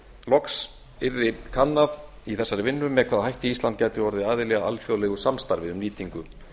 loks yrði kannað í þessari vinnu með hvaða hætti ísland gæti orðið aðili að alþjóðlegu samstarfi um nýtingu